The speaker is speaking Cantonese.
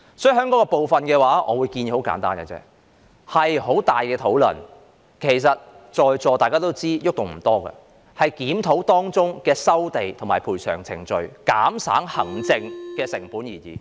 就此，我的建議十分簡單，我認為可作討論，但在座各位也知道改動空間不多，只能檢討當中的收地和賠償程序，以減省行政成本。